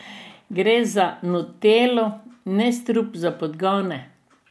Gre za nutello, ne strup za podgane.